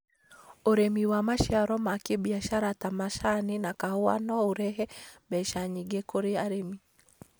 ũrĩmi wa maciaro ma kĩbiashara ta macani na kahua no ũrehe mbeca nyingĩ kũrĩ arĩmi.